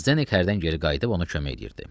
Zdenek hərdən geri qayıdıb ona kömək edirdi.